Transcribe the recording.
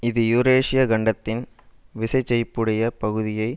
இது யூரேசிய கண்டத்தின் விசைச் செழிப்புடைய பகுதியை